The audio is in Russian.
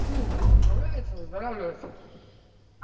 ну поправляется выздоравливает